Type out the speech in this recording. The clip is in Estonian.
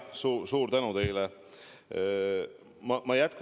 Suur tänu teile!